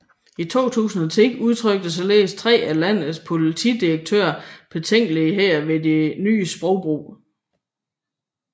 I 2010 udtrykte således tre af landets politidirektører betænkeligheder ved den nye sprogbrug